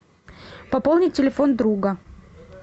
пополнить телефон друга